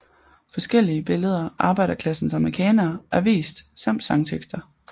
Forskellige billeder af arbejderklassens amerikanere er vist samt sangtekster